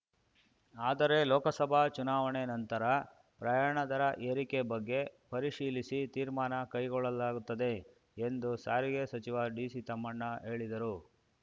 ಆದರೆ ಲೋಕಸಭಾ ಚುನಾವಣೆ ನಂತರ ಪ್ರಯಾಣ ದರ ಏರಿಕೆ ಬಗ್ಗೆ ಪರಿಶೀಲಿಸಿ ತೀರ್ಮಾನ ಕೈಗೊಳ್ಳಲಾಗುತ್ತದೆ ಎಂದು ಸಾರಿಗೆ ಸಚಿವ ಡಿಸಿ ತಮ್ಮಣ್ಣ ಹೇಳಿದರು